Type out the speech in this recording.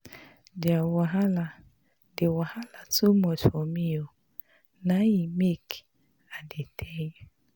Di wahala too much for me na im make I dey tell you.